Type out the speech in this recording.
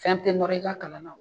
Fɛn tɛ nɔrɔ i ka kalan na.